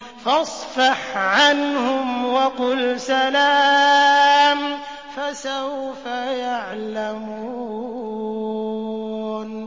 فَاصْفَحْ عَنْهُمْ وَقُلْ سَلَامٌ ۚ فَسَوْفَ يَعْلَمُونَ